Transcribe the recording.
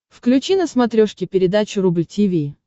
включи на смотрешке передачу рубль ти ви